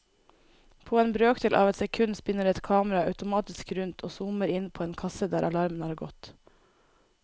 På en brøkdel av et sekund spinner et kamera automatisk rundt og zoomer inn på en kasse der alarmen har gått.